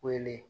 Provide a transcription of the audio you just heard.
Wele